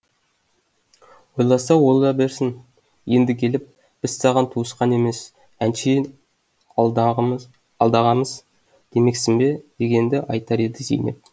ойласа ойлай берсін енді келіп біз саған туысқан емес әншейін алдағамыз демексің бе дегенді айтар еді зейнеп